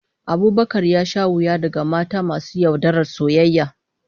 Abubakar ya sha wuya daga mata masu yaudarar soyayya